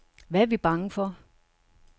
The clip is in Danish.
Hvad er vi bange for.